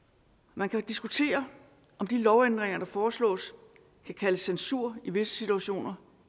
man kan diskutere om de lovændringer der foreslås kan kaldes censur i visse situationer